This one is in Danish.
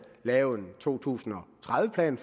lave en to tusind og tredive plan